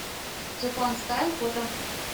джапанстайл фото